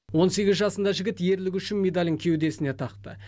он сегіз жасында жігіт ерлігі үшін медалін кеудесіне тақты